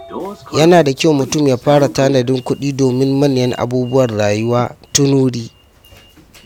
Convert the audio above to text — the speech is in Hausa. Yana da kyau mutum ya fara tanadin kuɗi domin manyan abubuwan rayuwa tun wuri.